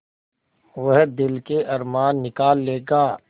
वह दिल के अरमान निकाल लेगा